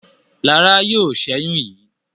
Lara yóò ṣẹyun yí.